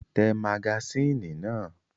Tẹ magasínì náà!